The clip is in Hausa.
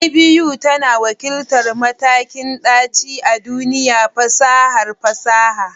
IBU tana wakiltar matakin ɗaci a duniyar fasahar fasaha.